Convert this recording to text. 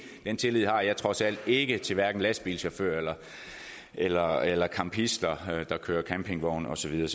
den tillid har jeg trods alt ikke til lastbilchauffører eller eller campister der kører campingvogn og så videre